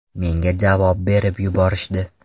Menga javob berib yuborishdi.